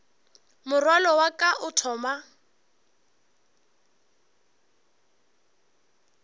morwalo wa ka o thoma